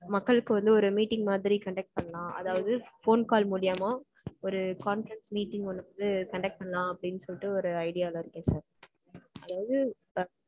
மக்களுக்கு வந்து ஒரு meeting மாதிரி conduct பண்லாம். அதாவது phone call மூலியமா ஒரு conference meeting வந்து conduct பண்ணலாம் அப்டீனு சொல்லிட்டு ஒரு idea ல இருக்கேன் sir. அதாவது